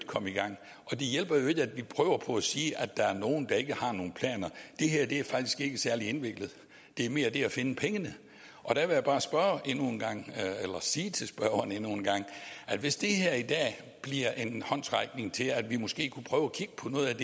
komme i gang og det hjælper ikke at vi prøver på at sige at der er nogle der ikke har nogen planer det her er faktisk ikke særlig indviklet det er mere det at finde pengene jeg vil bare sige til spørgeren endnu en gang hvis det her i dag bliver en håndsrækning til at vi måske kunne prøve